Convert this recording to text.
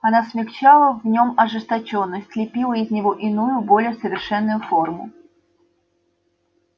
она смягчала в нем ожесточённость лепила из него иную более совершенную форму